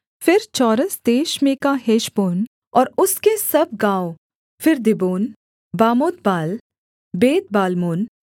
फिर चौरस देश में का हेशबोन और उसके सब गाँव फिर दीबोन बामोतबाल बेतबाल्मोन